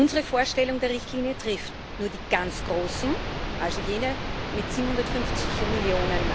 Unsere Vorstellung der Richtlinie trifft nur die ganz Großen, also jene mit 750 Mio.